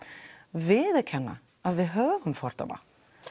viðurkenna að við höfum fordóma